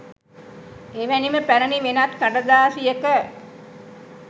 එවැනිම පැරණි වෙනත් කඩදාසියක